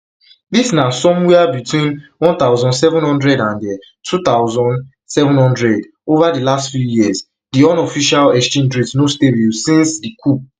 dis na somewia between one thousand, seven hundred and um two thousand, seven hundred over di last few years di unofficial exchange rate no stable since di um coup